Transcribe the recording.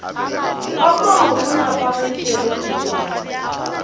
ka mo go nepagetšego kutšwana